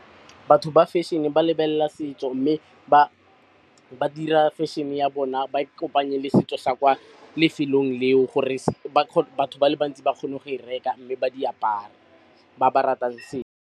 Batho ba fashion-e ba lebella setso, mme ba dira fashion-e ya bona ba e kopanye le setso sa kwa lefelong leo gore batho ba le bantsi ba kgone go e reka, mme ba di apare ba ba ratang .